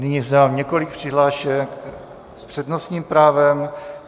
Nyní mám několik přihlášek s přednostním právem.